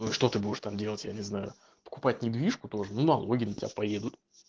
ну и что ты будешь там делать я не знаю покупать недвижку тоже ну налоги на тебя поедут